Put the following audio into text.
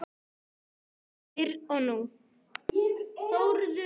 Fyrr og nú.